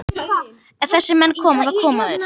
Ef þessir menn koma, þá koma þeir.